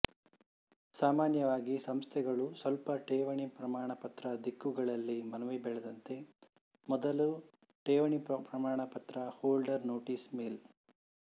ಸಾಮಾನ್ಯವಾಗಿ ಸಂಸ್ಥೆಗಳು ಸ್ವಲ್ಪ ಠೇವಣಿ ಪ್ರಮಾಣಪತ್ರ ದಿಕ್ಕುಗಳಲ್ಲಿ ಮನವಿ ಬೆಳೆದಂತೆ ಮೊದಲು ಠೇವಣಿ ಪ್ರಮಾಣಪತ್ರ ಹೋಲ್ಡರ್ ನೋಟಿಸ್ ಮೇಲ್